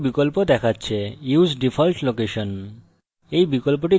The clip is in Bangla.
বিজ্ঞপ্তি একটি বিকল্প দেখাচ্ছে use default location